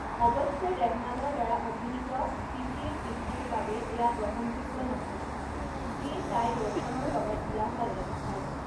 অৱশ্যে ৰেহমানৰ দ্বাৰা অভিনীত প্ৰীতিৰ পিতৃৰ বাবে এয়া গ্ৰহণযোগ্য নহয়, যিয়ে তাই ৰোছনৰ লগত বিয়া হোৱাটো বিচাৰে।